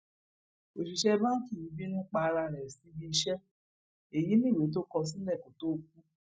òṣìṣẹ báǹkì yìí bínú pa ara ẹ ṣíbíiṣẹ èyí níwèé tó kọ sílẹ kó tóó kú